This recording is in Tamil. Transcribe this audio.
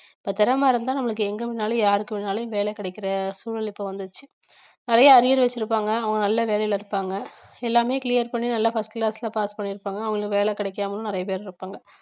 இப்ப திறமை இருந்தா நம்மளுக்கு எங்க வேணாலும் யாருக்கு வேணாலும் வேலை கிடைக்கிற சூழல் இப்ப வந்துருச்சு நிறைய arrears வச்சிருப்பாங்க அவங்க நல்ல வேலையில இருப்பாங்க எல்லாமே clear பண்ணி நல்லா first class ல pass பண்ணியிருப்பாங்க அவங்களுக்கு வேலை கிடைக்காமலும் நிறைய பேர் இருப்பாங்க